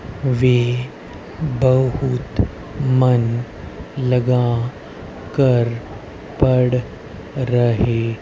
वे बहुत मन लगा कर पढ़ रहे--